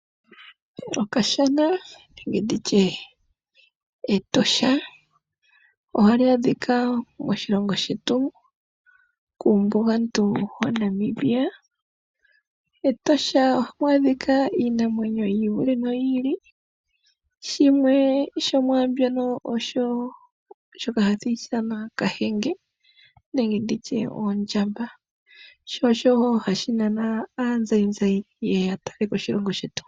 Okashana nenge Etosha ohali adhika moshilongo shetu kuumbugantu waNamibia. MEtosha ohamu adhika iinamwenyo yi ili noyi ili. Shimwe shomwaambyono ohashi ithanwa kahenge nenge ondjamba. Osho wo hashi nana aazayizayi ye ye ya talele po oshilongo shetu.